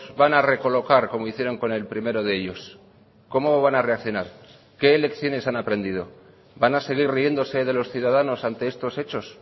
van a recolocar como hicieron con el primero de ellos cómo van a reaccionar qué lecciones han aprendido van a seguir riéndose de los ciudadanos ante estos hechos